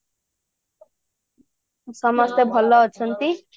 ସମସ୍ତେ ଭଲ ଅଛନ୍ତି